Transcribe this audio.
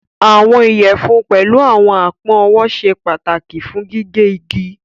Àwọn iyẹfun pẹ̀lú àwọn apọn ọwọ sẹ pataki fún gígẹ̀ igi.